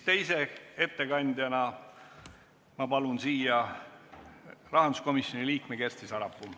Teise ettekandjana palun ma siia rahanduskomisjoni liikme Kersti Sarapuu.